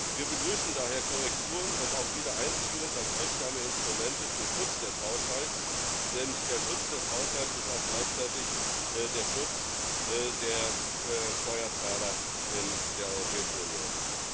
Wir begrüßen daher Korrekturen und auch Wiedereinziehung als wirksame Instrumente zum Schutz des Haushalts, denn der Schutz des Haushalts ist auch gleichzeitig der Schutz der Steuerzahler in der Europäischen Union.